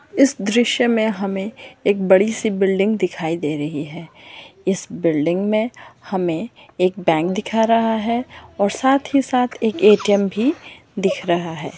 इस दृश्य में हमे एक बडी सी बिल्डिंग दिखाई दे रही है इस बिल्डिंग में हमे एक बैंक दिखा रहा है और साथ ही साथ एक ए.टी.एम. भी दिख रहा है।